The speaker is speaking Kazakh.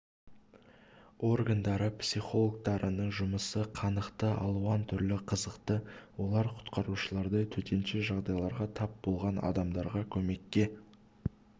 органдары психологтарының жұмысы қанықты алуан түрлі қызықты олар құтқарушылардай төтенше жағдайға тап болған адамдарға көмекке